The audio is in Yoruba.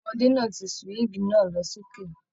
Ọmọdé náà tí suwigi náà lọ sókè.